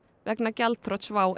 vegna gjaldþrots WOW